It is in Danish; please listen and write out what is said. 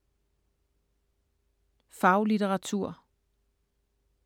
Faglitteratur